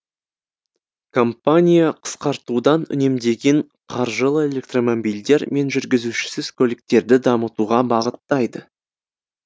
компания қысқартудан үнемдеген қаржылы электромобильдер мен жүргізушісіз көліктерді дамытуға бағыттайды